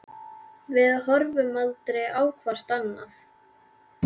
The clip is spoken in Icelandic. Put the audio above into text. Við horfum aldrei á hvort annað.